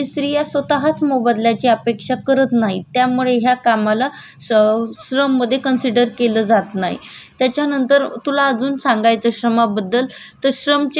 त्याच्यानंतर तुला अजून सांगायचं श्रमा बद्दल तो श्रम चे काही विभागणी केलेली आहे जर्मन चा एक विधवा तक होता त्याचं नाव मकाल मास होतं